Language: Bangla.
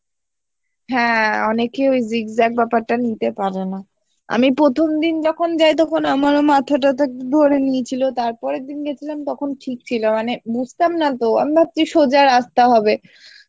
হ্যাঁ অনেকে ওই zigzag ব্যপারটা নিতে পারেনা আমি প্রথম দিন যখন যাই তখন আমারও মাথা টাঠা ধরে নিয়েছিলো তার পরের দিন গেছিলাম তখন ঠিক ছিলো মানে বুঝতাম না তো আমি ভাবছি সোজা রাস্তা হবে